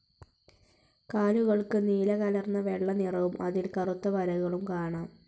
കാലുകൾക്ക് നീലകലർന്ന വെള്ള നിറവും അതിൽ കറുത്ത വരകളും കാണാം.